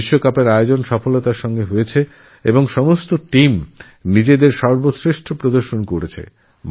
world কাপের আয়োজন সুষ্ঠ ও সফল ভাবে সম্পন্ন হয়েছেএবং সব টিমই তাদের সর্বশ্রেষ্ঠ নৈপুণ্য দেখিয়েছে